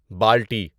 بُالٹی